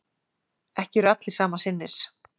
Ekki eru allir sama sinnis